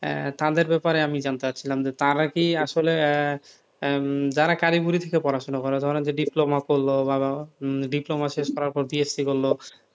তাদের ব্যাপারে আমি জানতে চাইছিলাম যে তারাকি আসলে আহ যারা কারিগরি দিকে পড়াশোনা করেন ধরেন যে diploma করল বা diploma শেষ করার পর BSc করলো,